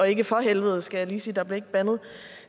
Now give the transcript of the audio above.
ikke for helvede skal jeg lige sige der blev ikke bandet